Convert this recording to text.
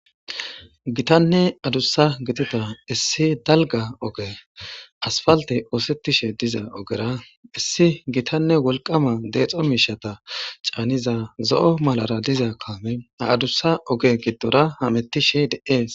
gitanne adussa gidida issi dalga oge asfalte oosettishe diza ogera issi gitanne wolqama deexo miishata caaniza zo'o malara diza kaame aadussa oge giddora hamettishe de'ees